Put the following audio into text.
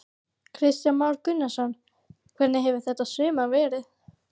Kristján Már Unnarsson: Hvernig hefur þetta sumar verið?